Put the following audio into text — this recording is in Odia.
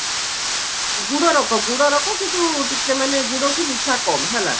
ଗୁଡ ରକ ଗୁଡ ରକ କିନ୍ତୁ ଟିକେ ମାନେ ଗୁଡଠୁ ମିଠା କମ ହେଲା